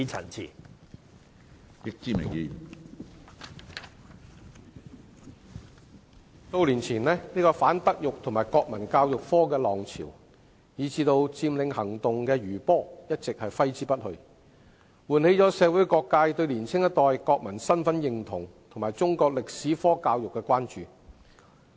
主席，數年前反德育及國民教育科的浪潮，以至佔領行動的餘波一直揮之不去，喚起了社會各界對年輕一代國民身份認同及中國歷史科教育的關注。